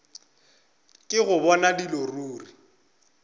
ke go bona dilo ruri